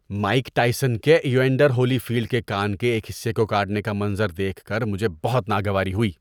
‏Mike Tyson کے Evander Holyfield کے کان کے ایک حصے کو کاٹنے کا منظر دیکھ کر مجھے بہت ناگواری ہوئی۔